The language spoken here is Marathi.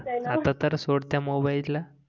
आता तर सोड त्या मोबाइल ला